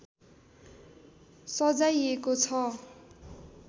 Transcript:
सजाइएको छ